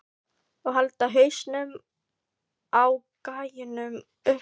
Og halda hausnum á gæjanum uppi!